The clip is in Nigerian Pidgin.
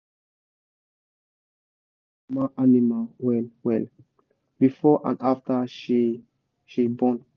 we dey watch first-time mama animal well well before and after she she born.